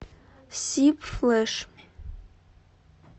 сиб флэш